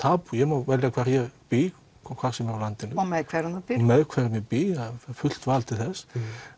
ég má velja hvar ég bý hvar sem er á landinu og með hverjum með hverjum ég bý hef fullt val til þess